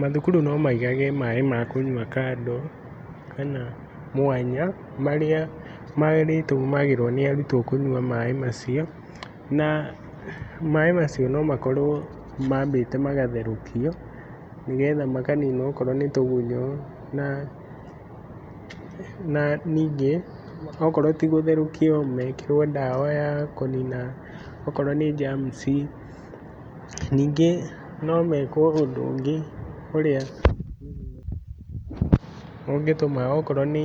Mathukuru nomaigage maĩ makũnyua kando kana mwanya marĩa marĩtũmagĩrwo nĩ arutwo kũnyua maĩ macio na maĩ macio nomakorwo mambĩte magatherũkio nĩgetha makanina okorwo nĩtũgunyo na nanyingĩ okorwo tĩgũtherũkio mekĩwo dawa yakũnina okorwo nĩ jamci. Nyingĩ nomekwo ũndũ ũngĩ ũrĩa ũngĩtũma okorwo nĩ